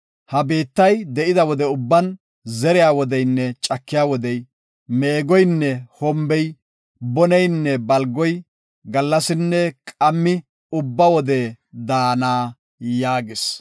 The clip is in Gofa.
Ha biittay de7ida wode ubban, zeriya wodeynne cakiya wodey, meegoyinne hombey, boneynne balgoy, gallasinne qammi ubba wode daana” yaagis.